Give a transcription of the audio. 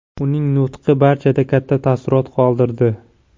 Uning nutqi barchada katta taassurot qoldirdi.